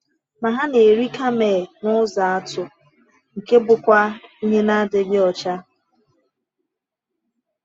Ma ha na-eri kamel n’ụzọ atụ, nke bụkwa ihe na-adịghị ọcha.